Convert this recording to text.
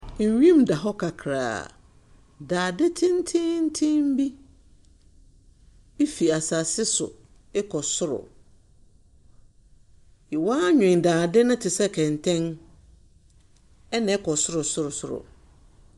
Wim da hɔ kakraa. Dade tsentseentsen bi bi firi asase so rekɔ soro. Wɔanwen dadze no te sɛ kɛntɛn, ɛnna ɛkɔ sorosorosoro.